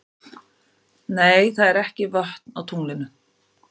Nei, það eru ekki vötn á tunglinu.